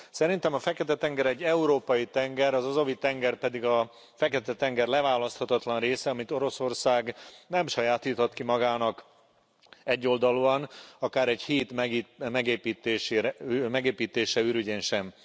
Szerintem a Fekete tenger egy európai tenger, az Azovi tenger pedig a Fekete tenger leválaszthatatlan része, amit Oroszország nem sajátíthat ki magának egyoldalúan, akár egy híd megépítése ürügyén sem.